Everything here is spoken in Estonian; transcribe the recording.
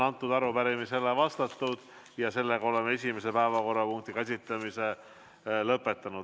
Arupärimisele on vastatud ja oleme esimese päevakorrapunkti käsitlemise lõpetanud.